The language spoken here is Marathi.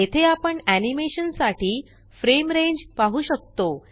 येथे आपण animationसाठी फ्रेम रेंज पाहु शकतो